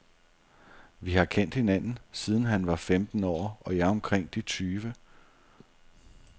Vi har kendt hinanden, siden han var femten år og jeg omkring de tyve.